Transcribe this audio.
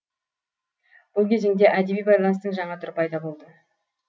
бұл кезеңде әдеби байланыстың жаңа түрі пайда болды